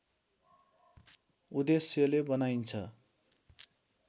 उद्देश्यले बनाइन्छ